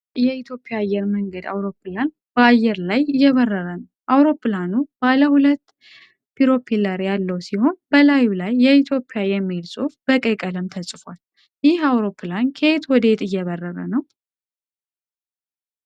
ነጭ የኢትዮጵያ አየር መንገድ አውሮፕላን በአየር ላይ እየበረረ ነው። አውሮፕላኑ ባለሁለት ፕሮፔለር ያለው ሲሆን፣ በላዩ ላይ "የኢትዮጵያ" የሚል ጽሑፍ በቀይ ቀለም ተጽፏል። ይህ አውሮፕላን ከየት ወዴት እየበረረ ነው?